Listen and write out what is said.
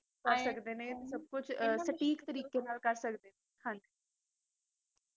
ਹਾਂਜੀ